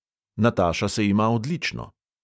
Nataša se ima odlično.